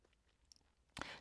TV 2